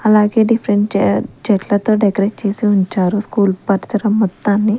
అలాగే డిఫరెంట్ చెట్లతో డెకరేట్ చేసి ఉంచారు స్కూల్ పరిసరాం మొత్తాన్ని.